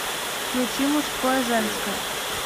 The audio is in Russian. включи мужское женское